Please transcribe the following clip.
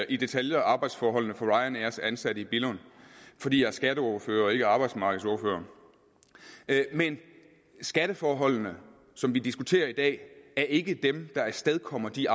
i detaljer arbejdsforholdene for ryanairs ansatte i billund fordi jeg er skatteordfører og ikke arbejdsmarkedsordfører men skatteforholdene som vi diskuterer i dag er ikke dem der afstedkommer de